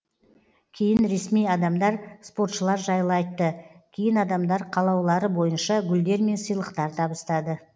кейін ресми адамдар спортшылар жайлы айтты кейін адамдар қалаулары бойынша гүлдер мен сыйлықтар табыстады